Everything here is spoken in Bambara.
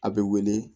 A bɛ wele